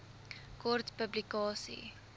kort publikasie